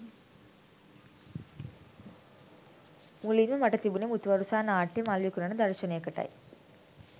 මුලින්ම මට තිබුණෙ මුතුවරුසා නාට්‍යයේ මල් විකුණන දර්ශනයකටයි.